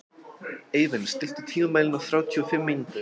Eivin, stilltu tímamælinn á þrjátíu og fimm mínútur.